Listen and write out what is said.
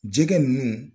Jɛgɛ ninnu